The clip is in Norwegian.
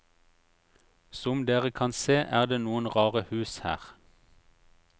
Som dere kan se er det noen rare hus her.